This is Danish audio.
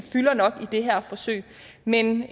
fylder nok i det her forsøg men